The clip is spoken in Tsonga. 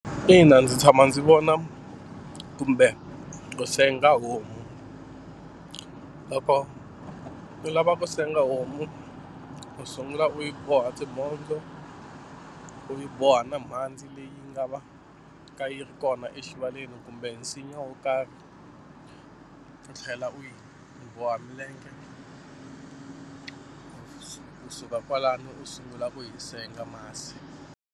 Ina ndzi tshama ndzi vona kumbe ku senga homu. Loko u lava ku senga homu u sungula u yi boha timhondzo u yi boha na mhandzi leyi nga va ka yi ri kona exivaleni kumbe nsinya wo karhi u tlhela u yi boha milenge kusuka kwalano u sungula ku yi senga masi.